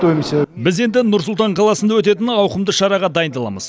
біз енді нұр сұлтан қаласында өтетін ауқымды шараға дайындаламыз